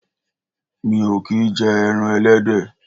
Mi ò kì í jẹ ẹran ẹlẹ́dẹ̀